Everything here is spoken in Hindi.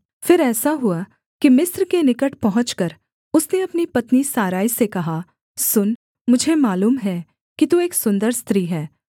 फिर ऐसा हुआ कि मिस्र के निकट पहुँचकर उसने अपनी पत्नी सारै से कहा सुन मुझे मालूम है कि तू एक सुन्दर स्त्री है